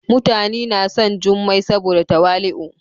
mutani na son jummai saboda tawali'u.